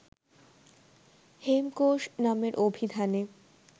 হেমকোষ নামের অভিধানে